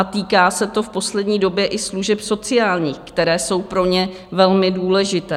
A týká se to v poslední době i služeb sociálních, které jsou pro ně velmi důležité.